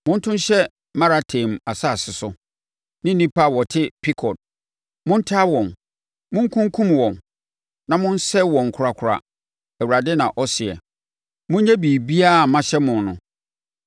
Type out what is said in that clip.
“Monto nhyɛ Merataim asase so ne nnipa a wɔte Pekod. Montaa wɔn, monkunkum wɔn na monsɛe wɔn korakora,” Awurade na ɔseɛ. “Monyɛ biribiara a mahyɛ mo no.